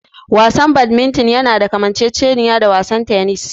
Wasan Badminton yana da kamanceceniya da wasan tennis.